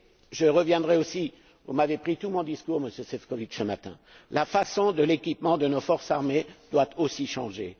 J'y reviendrai aussi vous m'avez pris tout mon discours, Monsieur Šefčovič, ce matin l'équipement de nos forces armées doit aussi changer.